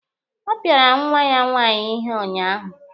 Ọ pịara nwa ya nwaanyị ihe unyaahụ.